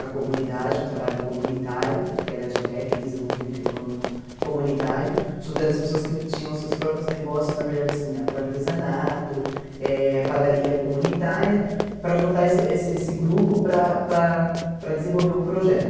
A comunidade, um trabalho comunitário, que era de técnico, desenvolvimento econômico comunitário, juntando as pessoas que tinham seus próprios negócios, na verdade, assim, com artesanato, eh padaria comunitária, para juntar esse esse esse grupo para para para desenvolver um projeto.